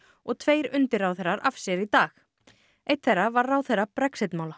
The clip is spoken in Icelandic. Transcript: og tveir undirráðherrar af sér í dag einn þeirra var ráðherra Brexit mála